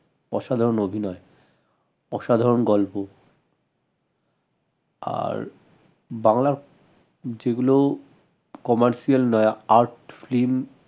অসাধারন অভিনয় অসাধারন গল্প আর বাংলার যেগুলো commercial নয় art film